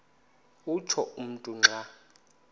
utsho umntu xa